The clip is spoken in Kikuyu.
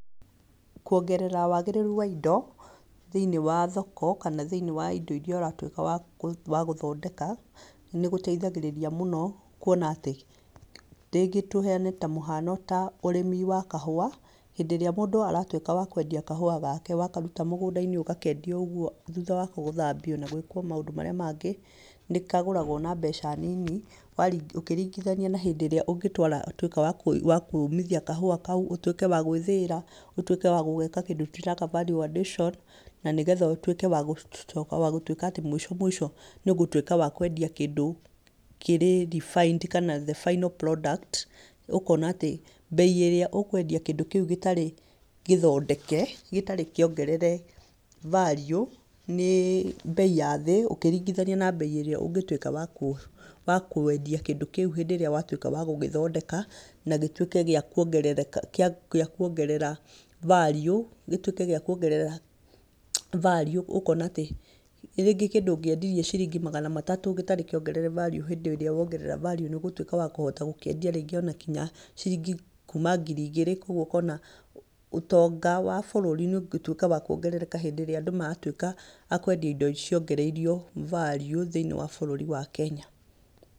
Kuongerera wagĩrĩru wa indo thĩiniĩ wa thoko, kana thĩiniĩ wa indo irĩa ũratuĩka wa kũ wagũthondeka, nĩgũteithagĩrĩria mũno kuona atĩ, rĩngĩ tũheane ta mũhano ta ũrĩmi wa kahũa, hĩndĩ ĩrĩa mũndũ aratuĩka wa kwendia kahũa gake wakaruta mũgũnda-inĩ ũgakendia ũguo thutha wa kũthambio na gwĩkwo maũndũ marĩa mangĩ, nĩkagũragwo na mbeca nini, wari ũkĩringithania na hĩndĩ ĩrĩa ũngĩtwara tuĩka wa kwĩruithia kahũa kau, ũtuĩke wa gwĩthĩĩra, ũtuĩke wa gũgeka kĩndũ tũreta value addition, na nĩgetha ũtuĩke wa gũ wagũtuĩka atĩ mũico mũico nĩũgũtuĩka wa kwendia kĩndũ kĩrĩ refined kana the final product ũkona atĩ mbei ĩrĩa ũkwendia kĩndũ kĩu gĩtarĩ gĩthondeke, gĩtarĩ kĩongerere value nĩ mbei ya thĩ ũkĩringithania na mbei ĩrĩa ũngĩtuĩka wakũ wa kwendia kĩndũ kĩu hĩndĩ ĩrĩa watuĩka wa gũgĩthondeka, na gĩtuĩke gĩa kuongereraka kĩa kuongerera value gĩtuĩke gĩa kuongerera value ũkona atĩ, rĩngĩ kĩndũ ũngĩendirie ciringi magana matatũ gĩtarĩ kĩongerere value hĩndĩ ĩrĩa wongerera value nĩũgũtuĩka wa kũhota wa gũkĩendia rĩngĩ ona kinya ciringi kuma ngiri igĩrĩ, koguo ũkona ũtonga wa bũrũri nĩũgũtuĩka wa kuongerereka hĩndĩ ĩrĩa andũ matuĩka a kwendia indo ciongereirio value thĩiniĩ wa bũruri wa kenya.